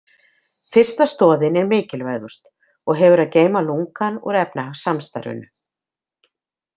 Fyrsta stoðin er mikilvægust og hefur að geyma lungann úr efnahagssamstarfinu.